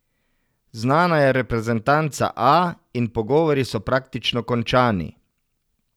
Znana je reprezentanca A in pogovori so praktično končani.